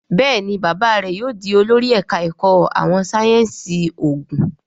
Béèni bàbá rẹ yóò dì olórí ẹka èkó àwọn sáyẹnsì oògùn.